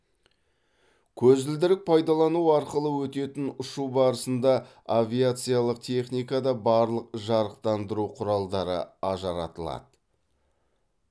көзілдірік пайдалану арқылы өтетін ұшу барысында авиациялық техникада барлық жарықтандыру құралдары ажыратылады